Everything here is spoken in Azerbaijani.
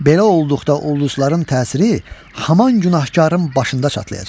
Belə olduqda ulduzların təsiri haman günahkarın başında çatlayacaq.